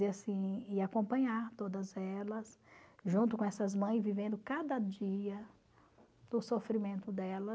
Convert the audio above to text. E assim, e acompanhar todas elas, junto com essas mães, vivendo cada dia do sofrimento dela.